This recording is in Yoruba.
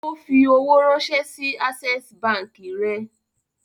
O fi owó ránṣẹ́ sí Access Báńkì rẹ̀.